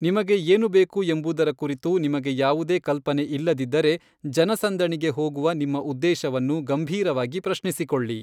ನಿಮಗೆ ಏನು ಬೇಕು ಎಂಬುದರ ಕುರಿತು ನಿಮಗೆ ಯಾವುದೇ ಕಲ್ಪನೆ ಇಲ್ಲದಿದ್ದರೆ, ಜನಸಂದಣಿಗೆ ಹೋಗುವ ನಿಮ್ಮ ಉದ್ದೇಶವನ್ನು ಗಂಭೀರವಾಗಿ ಪ್ರಶ್ನಿಸಿಕೊಳ್ಳಿ.